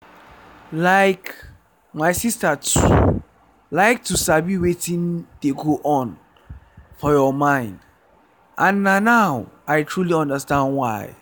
like my sister too like to sabi wetin dey go on for your mind and na now i truly understand why.